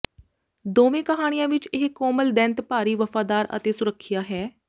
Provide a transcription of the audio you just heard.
ਦੋਵੇਂ ਕਹਾਣੀਆਂ ਵਿਚ ਇਹ ਕੋਮਲ ਦੈਂਤ ਭਾਰੀ ਵਫਾਦਾਰ ਅਤੇ ਸੁਰੱਖਿਆ ਹੈ